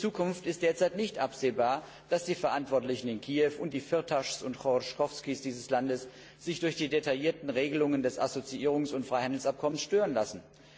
Für die Zukunft ist derzeit nicht absehbar, dass die Verantwortlichen in Kiew und die Firtaschs und Choroschkowskijs dieses Landes sich durch die detaillierten Regelungen des Assoziierungs und Freihandelsabkommens stören lassen.